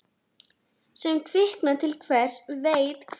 Sem kvikna til hver veit hvers.